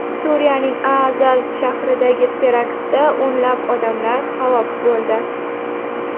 Suriyaning Aazaz shahridagi teraktda o‘nlab odamlar halok bo‘ldi.